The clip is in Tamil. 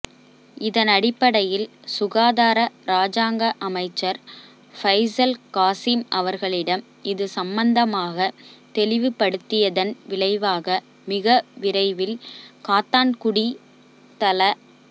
இதனடிப்படையில் சுகாதார இராஜாங்க அமைச்சர் பைசல் காசிம் அவர்களிடம் இது சம்பந்தமாக தெளிவுபடுத்தியதன் விளைவாக மிக விரைவில் காத்தான்குடி தள